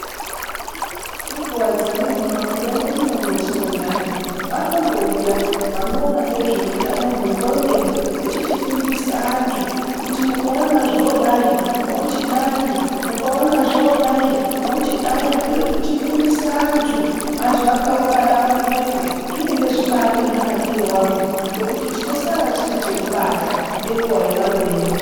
Ngenguwa dzimweni, mumabuya mwedumo mwatinogara, vanombouya vanoona ngezveutano hwenqondo, vechichifundisa antu kuti mukaona zvodai, mwochidai, mukaona zvodai mwochidai, kuri kuchifundisa antu. Antu akaungana pamwepo, zvinenge zvibaari nemunakire wazvo, ngekuti tinosara tine chekubata ngenguwa yavanoenda.